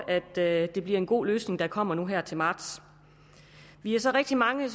at det bliver en god løsning der kommer her til marts vi er så rigtig mange